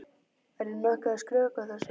Er ég nokkuð að skrökva þessu?